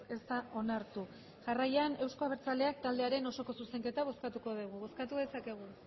ez da onartu jarraian euzko abertzaleak taldearen osoko zuzenketa bozkatu dugu bozkatu dezakegu